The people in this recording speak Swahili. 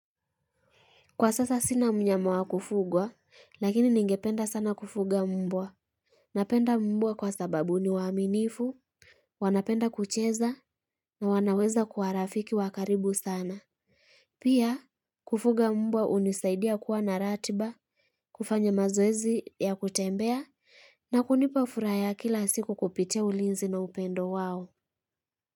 Kwa sasa sina mnyama wa kufugwa, lakini ningependa sana kufuga mbwa. Napenda mbwa kwa sababu ni waaminifu, wanapenda kucheza, na wanaweza kuwa rafiki wa karibu sana. Pia, kufuga mbwa hunisaidia kuwa na ratiba, kufanya mazoezi ya kutembea, na kunipa furaha ya kila siku kupitia ulinzi na upendo wao.